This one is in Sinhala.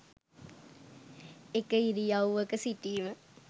එක ඉරියව්වක සිටීම